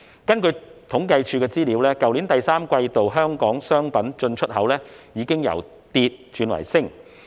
根據政府統計處的資料，去年第三季度香港商品進出口已經由跌轉升。